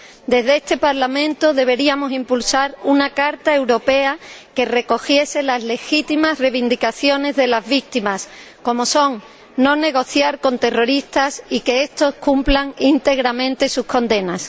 Desde este Parlamento deberíamos impulsar una Carta Europea que recogiese las legítimas reivindicaciones de las víctimas, como son no negociar con terroristas y que estos cumplan íntegramente sus condenas.